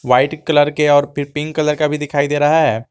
White colour के और pink colour का भी दिखाई दे रहा है।